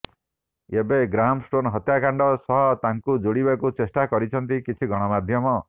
ଏବେ ଗ୍ରାହମଷ୍ଟେନ୍ ହତ୍ୟାକାଣ୍ଡ ସହ ତାଙ୍କୁ ଯୋଡିବାକୁ ଚେଷ୍ଟା କରିଛନ୍ତି କିଛି ଗଣମାଧ୍ୟମ